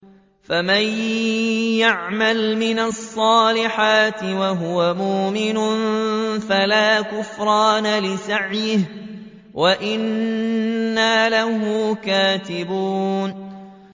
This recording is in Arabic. فَمَن يَعْمَلْ مِنَ الصَّالِحَاتِ وَهُوَ مُؤْمِنٌ فَلَا كُفْرَانَ لِسَعْيِهِ وَإِنَّا لَهُ كَاتِبُونَ